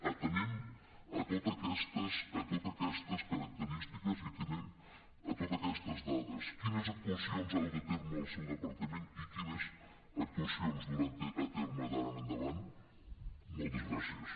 atenent totes aquestes característiques i atenent totes aquestes dades quines actuacions ha dut a terme el seu departament i quines actuacions durà a terme d’ara en endavant moltes gràcies